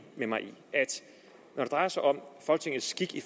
med mig i at når det drejer sig om folketingets skik i